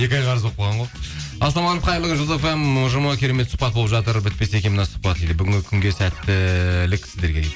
екі ай қарыз болып қалған ғой ассалаумағалейкум қайырлы күн жұлдыз фм ұжымы керемет сұхбат болып жатыр бітпесе екен мына сұхбат дейді бүгінгі күнге сәттілік сіздерге дейді